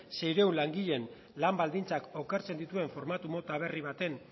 seiehun langileen lan baldintzak okertzen dituen formatu mota berri baten